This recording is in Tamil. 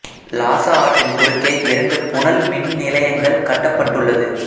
லாசா ஆற்றின் குறுக்கே இரண்டு புனல் மின் நிலையங்கள் கட்டப்பட்ட்டுள்ளது